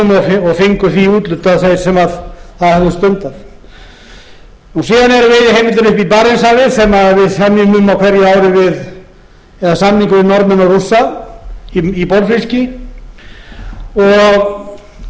honum og fengu því úthlutað þeir sem það höfðu stundað síðan eru veiðiheimildir uppi í barentshafi sem við semjum um á hverju ári við eða samningur við norðmenn og rússa í bolfiski